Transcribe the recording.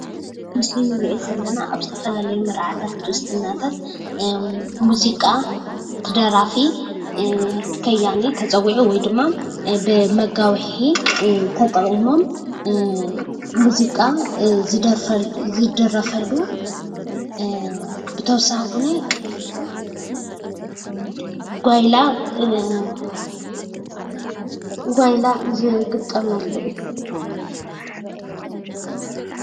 ኣብዚ ምስሊ ንርኦ ዘለና ኣብ ዝተፈላለዩ መርዓታት ክርስትናታት ሙዚቃ እቲ ደራፊ/ከያኒ/ ተፀዊዑ ወይድማ መጋዊሒ ተጠቒሞም ሙዚቃ ዝድረፈሉ ኮይኑ ብተወሳኺ ጓይላ ዝግጠመሉ እዩ።